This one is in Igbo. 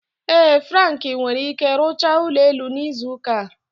Ee Frank nwere ike rụchaa ụlọ elu n'izu ụka a.